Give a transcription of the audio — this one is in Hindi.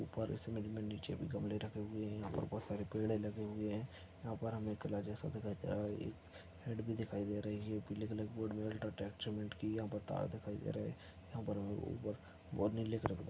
उप्पर इस इमेज मे गमले भी रखे हुए है यहाँ पर बहुत सारे पेड़ लगे हुए है यहाँ पर हमे हेड भी दिखाई दे रही है जो पीले कलर के बोर्ड मे उल्ट्रटेक सीमेंट की यहाँ पे तार दिखाई दे रहे है यहाँ पर उप्पर---